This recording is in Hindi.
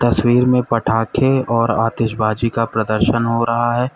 तस्वीर में पटाखे और आतिशबाजी का प्रदर्शन हो रहा है।